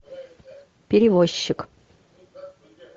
перевозчик